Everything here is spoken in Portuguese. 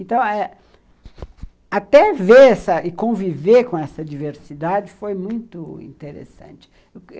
Então eh, até ver e conviver com essa diversidade foi muito interessante.